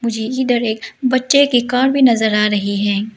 इधर एक बच्चे की कार भी नजर आ रही है।